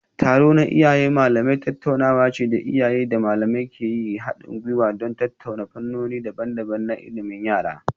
Taro na Iyaye Malamai tattaunawa ce da iyaye da malamai ke yin hadin gwiwa don tattauna fannoni daban-daban na ilimin yara.